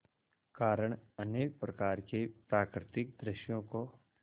कारण अनेक प्रकार के प्राकृतिक दृश्यों को